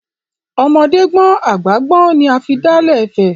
Ọmọdé gbọ́n àgbà gbọ́n ni a fi dálé Ifẹ̀.